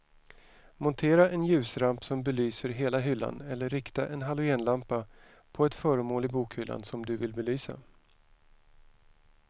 Montera en ljusramp som belyser hela hyllan eller rikta en halogenlampa på ett föremål i bokhyllan som du vill belysa.